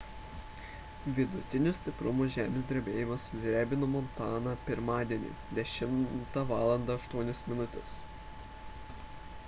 vidutinio stiprumo žemės drebėjimas sudrebino montaną pirmadienį 10:08 val